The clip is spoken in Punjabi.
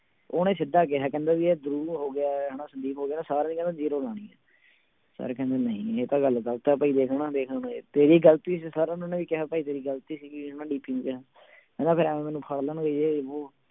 ਉਹਨੇ ਸਿੱਧਾ ਕਿਹਾ ਕਹਿੰਦੇ ਵੀ ਇਹ ਹਨਾ ਸੰਦੀਪ ਵਗ਼ੈਰਾ ਸਾਰਿਆਂ ਦੀ ਕਹਿੰਦਾ zero ਲਾਉਣੀ ਹੈ ਸਰ ਕਹਿੰਦੇ ਨਹੀਂ ਇਹ ਤਾਂ ਗੱਲ ਗ਼ਲਤ ਹੈ ਭਾਈ ਦੇਖ ਹਨਾ ਦੇਖ ਹੁਣ ਤੇਰੀ ਗ਼ਲਤੀ ਸੀ ਸਰ ਹੋਣਾ ਨੇ ਇਹੀ ਕਿਹਾ ਭਾਈ ਤੇਰੀ ਗ਼ਲਤੀ ਸੀਗੀ ਹਨਾ DP ਨੂੰ ਕਿਹਾ ਕਹਿੰਦਾ ਇਉਂ ਮੈਨੂੰ ਫੜ ਲੈਣਗੇ ਜੇ ਵੋਹ